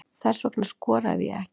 Þess vegna skoraði ég ekki